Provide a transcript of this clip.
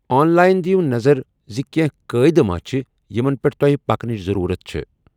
آن line دیٖو نظر زِ کینٛہہ قٲیدٕ ما چھِ یِمن پیٚٹھ تۄہہِ پکنٕچ ضٔروٗرت چھٖےٚ۔